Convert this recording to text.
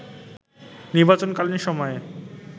নির্বাচনকালীন সময়ে